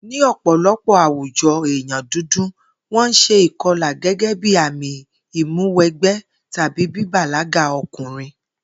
Ní ò̩pò̩lo̩pò̩ àwùjo̩ èèyàn dúdú, wó̩n ń s̩e ìko̩là gé̩gé̩ bí àmì ìmúwe̩gbé̩ tàbí bíbàlágà o̩kùnrin